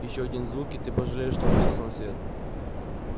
ещё один звук и ты пожалеешь о том что родился на свет